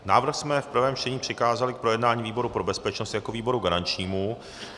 Návrh jsme v prvém čtení přikázali k projednání výboru pro bezpečnost jako výboru garančnímu.